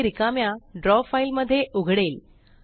हे रिकाम्या draw file मध्ये उघडेल